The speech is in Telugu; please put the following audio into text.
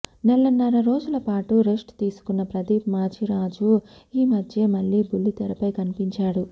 నెలన్నర రోజుల పాటు రెస్ట్ తీసుకున్న ప్రదీప్ మాచిరాజు ఈ మధ్యే మళ్లీ బుల్లితెరపై కనిపించాడు